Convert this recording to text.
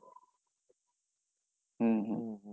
হম, হম,